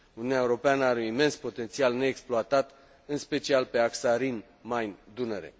Uniunea Europeană are un imens potențial neexploatat, în special pe axa Rhin Main Dunăre.